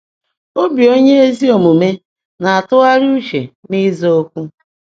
“Obi onye ezi omume na-atụgharị uche n’ịza okwu”